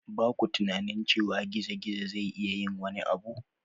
Ba ku tunanin cewa gizo-gizo zai iya yin wani abu?